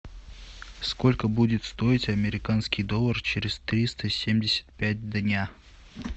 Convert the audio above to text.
сколько будет стоить американский доллар через триста семьдесят пять дня